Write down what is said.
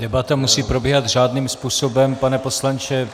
Debata musí probíhat řádným způsobem, pane poslanče.